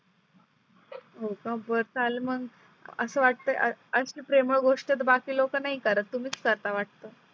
हो का बर चाल मग आस वाटतंय अस प्रेमळ गोष्ट तर बाकी लोक नाही करत तुम्हीच करता वाटतं